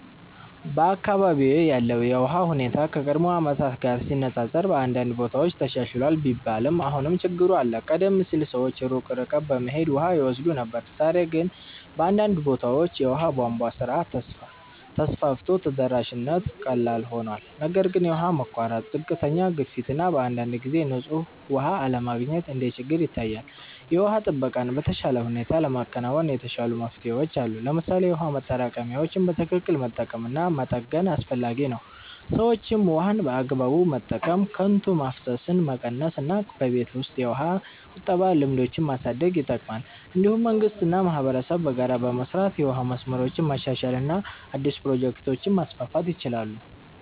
በአካባቢዬ ያለው የውሃ ሁኔታ ከቀድሞ ዓመታት ጋር ሲነፃፀር በአንዳንድ ቦታዎች ተሻሽሏል ቢባልም አሁንም ችግሮች አሉ። ቀደም ሲል ሰዎች ሩቅ ርቀት በመሄድ ውሃ ይወስዱ ነበር፣ ዛሬ ግን በአንዳንድ ቦታዎች የውሃ ቧንቧ ስርዓት ተስፋፍቶ ተደራሽነት ቀላል ሆኗል። ነገር ግን የውሃ መቋረጥ፣ ዝቅተኛ ግፊት እና በአንዳንድ ጊዜ ንጹህ ውሃ አለመገኘት እንደ ችግር ይታያል። የውሃ ጥበቃን በተሻለ ሁኔታ ለማከናወን የተሻሉ መፍትሄዎች አሉ። ለምሳሌ የውሃ ማጠራቀሚያዎችን በትክክል መጠቀም እና መጠገን አስፈላጊ ነው። ሰዎችም ውሃን በአግባቡ መጠቀም፣ ከንቱ ማፍሰስን መቀነስ እና በቤት ውስጥ የውሃ ቁጠባ ልምዶችን ማሳደግ ይጠቅማል። እንዲሁም መንግስት እና ማህበረሰብ በጋራ በመስራት የውሃ መስመሮችን ማሻሻል እና አዲስ ፕሮጀክቶችን ማስፋፋት ይችላሉ።